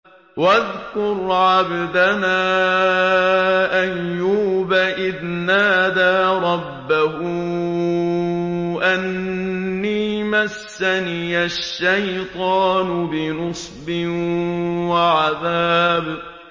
وَاذْكُرْ عَبْدَنَا أَيُّوبَ إِذْ نَادَىٰ رَبَّهُ أَنِّي مَسَّنِيَ الشَّيْطَانُ بِنُصْبٍ وَعَذَابٍ